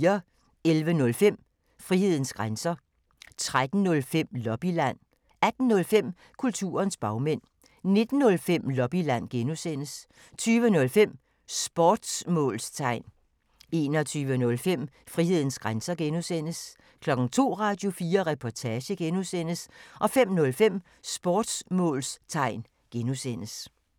11:05: Frihedens grænser 13:05: Lobbyland 18:05: Kulturens bagmænd 19:05: Lobbyland (G) 20:05: Sportsmålstegn 21:05: Frihedens grænser (G) 02:00: Radio4 Reportage (G) 05:05: Sportsmålstegn (G)